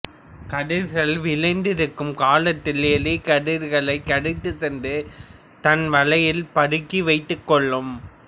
கதிர்கள் விளைந்திருக்கும் காலத்தில் எலி கதிர்களைக் கடித்துச் சென்று தன் வளையில் பதுக்கி வைத்துக்கொள்ளும்